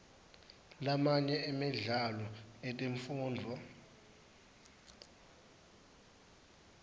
lamanye emidlalo yetemfundvo